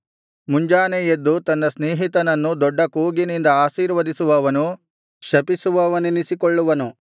ಮುಂಜಾನೆ ಎದ್ದು ತನ್ನ ಸ್ನೇಹಿತನನ್ನು ದೊಡ್ಡ ಕೂಗಿನಿಂದ ಆಶೀರ್ವದಿಸುವವನು ಶಪಿಸುವವನೆನಿಸಿಕೊಳ್ಳುವನು